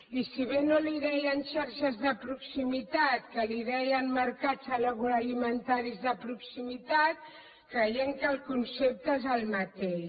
i si bé no en deien xarxes de proximitat que en deien mercats agroalimentaris de proximitat creiem que el concepte és el mateix